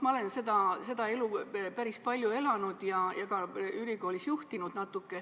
Ma olen seda elu päris palju elanud ja natuke ka ülikoolis juhtinud.